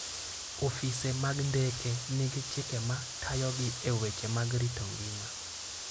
Ofise mag ndeke nigi chike ma tayogi e weche mag rito ngima.